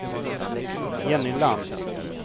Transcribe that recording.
Jenny Lantz